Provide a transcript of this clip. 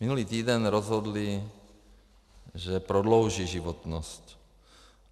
Minulý týden rozhodli, že prodlouží životnost.